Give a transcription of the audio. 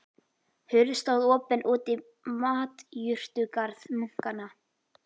Hurð stóð opin út í matjurtagarð munkanna.